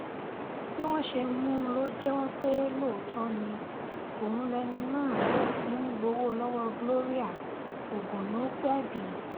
bí wọ́n ṣe mú un lọ jẹ́wọ́ pé lóòótọ́ ni òun lẹni náà tó ti ń gbowó lọ́wọ́ gloria ògùnnúpẹ́bì